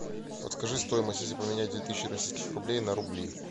подскажи стоимость если поменять две тысячи российских рублей на рубли